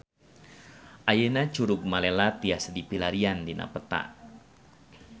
Ayeuna Curug Malela tiasa dipilarian dina peta